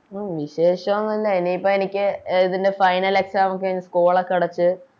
ഉം വിശേഷം ന്നുല്ല എനിപ്പം എനിക്ക് എ ഇതിൻറെ Final exam ഒക്കെ ആണ് School ഒക്കെ അടച്ച്